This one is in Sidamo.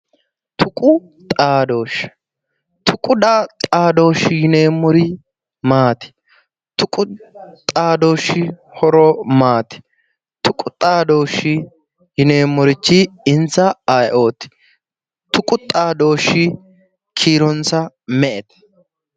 Tuqu xaadoshe, tuqu xaadoshi yineemmori maati? Tuqu xaadoshi horo maati? Tuqu xaadoshi yineemmori insa ayeeoti? Tuqu xaadoshi kiironsa me"ete?